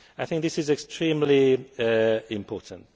today. I think this is extremely important.